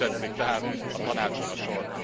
Ha úgy tetszik tehát, a Tanácson a sor.